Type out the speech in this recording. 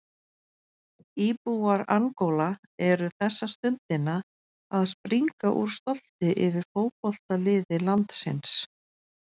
Íbúar Angóla eru þessa stundina að springa úr stolti yfir fótboltaliði landsins.